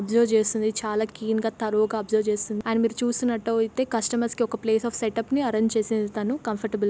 Observe చేస్తుంది చాలా clean గా గా అబ్జర్వ్ చేస్తే అండ్ మీరు చూస్తున్నట్టు అయితే కస్టమర్స్ కి ఒక ప్లేస్ ఆఫ్ సెటప్ ని అరేంజ్ చేసేది తను కంఫర్టబుల్ .